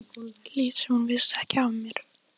Lét sem hún vissi ekki af mér.